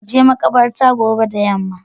ka je makabartan da gobe yamma.